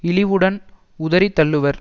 இழிவுடன் உதறி தள்ளுவர்